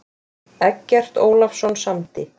Eggert Ólafsson samdi.